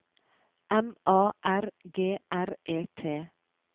M A R G R E T